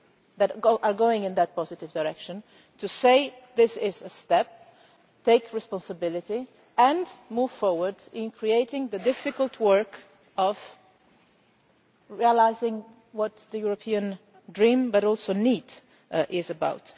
steps that are going in that positive direction to say that this is a step, take responsibility and move forward with the difficult work of realising what the European dream, but also need, is